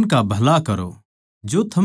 उनका भला करो